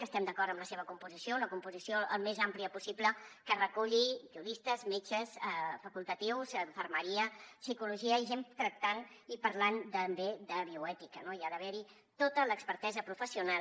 que estem d’acord amb la seva composició una composició al més àmplia possible que reculli juristes metges facultatius infermeria psicologia i gent tractant i parlant també de bioètica no hi ha d’haver tota l’expertesa professional